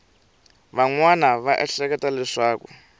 van wana va ehleketa leswaku